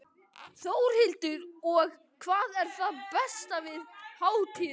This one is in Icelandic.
Þórhildur: Og hvað er það besta við hátíðina?